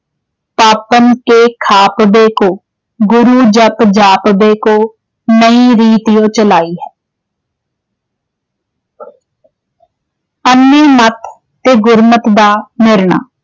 ਪਾਪਨ ਕੇ ਖਾਪਨੇ ਕੋ।। ਗੂਰੂ ਜਾਪਨੇ ਕੋ ਨਈ ਰੀਤਿ ਯੋਂ ਚਲਾਈ ਹੈ।। ਮਤ ਤੇ ਗੁਰਮਤ ਦਾ ਨਿਰਣਾ